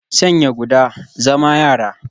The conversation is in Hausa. Sanya guda, zama yara